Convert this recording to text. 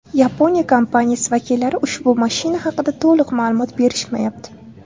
Yaponiya kompaniyasi vakillari ushbu mashina haqida to‘liq ma’lumot berishmayapti.